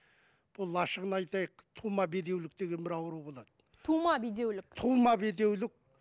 бұл ашығын айтайық тума бедеулік деген бір ауру болады тума бедеулік тума бедеулік